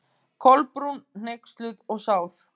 Kolbrún, hneyksluð og sár.